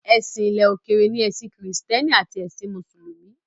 Èsìn ilẹ̀ òkèrè ni ẹ̀sìn kìrìsìtẹ́nì àti ẹ̀sìn mùsùlùmí.